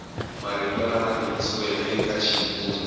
marito lama tikisiweke eka xivulwa